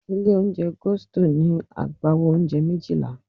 Ilé-oúnjẹ Gusto ní agbawo oúnjẹ méjìlá.